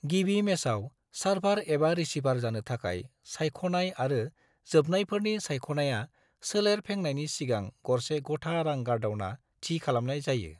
गिबि मेचाव सार्भार एबा रिसीभार जानो थाखाय सायख'नाय आरो जोबनायफोरनि सायख'नाया सोलेर फेंनायनि सिगां गरसे गथा रां गारदावना थि खालामनाय जायो।